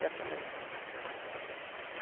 E assinei mesmo